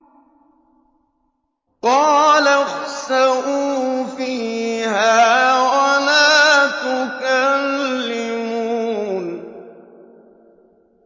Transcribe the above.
قَالَ اخْسَئُوا فِيهَا وَلَا تُكَلِّمُونِ